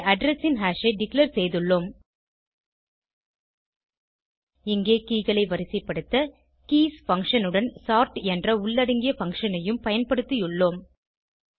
இங்கே அட்ரெஸ் ன் ஹாஷ் ஐ டிக்ளேர் செய்துள்ளோம் இங்கே keyகளை வரிசைப்படுத்த கீஸ் பங்ஷன் உடன் சோர்ட் என்ற உள்ளடங்கிய பங்ஷன் ஐயும் பயன்படுத்தியுள்ளோம்